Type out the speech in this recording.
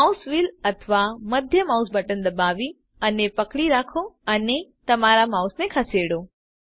mouse wheel અથવા મધ્યમ mouse button દબાવી અને પકડી રાખો અને તમારા માઉસને ખસેડો